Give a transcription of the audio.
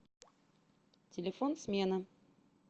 телефон смена